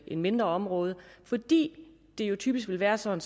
et mindre område fordi det typisk vil være sådan